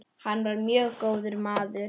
Hann var mjög góður maður.